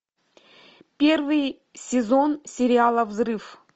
первый сезон сериала взрыв